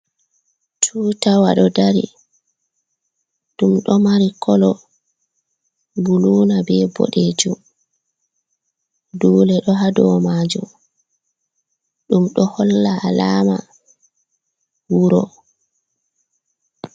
Tutawa ɗo dari, ɗum ɗo mari kolo buluna be ɓoɗejum. Dule ɗo ha dou majum ɗum do holla alama wuro.